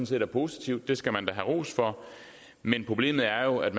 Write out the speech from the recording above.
set er positivt det skal man da have ros for men problemet er jo at